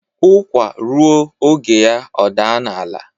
Ukwa ruo oge ya o daa n'ala